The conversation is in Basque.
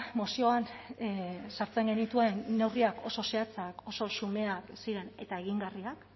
mozioan sartzen genituen neurriak oso zehatzak oso xumeak ziren eta egingarriak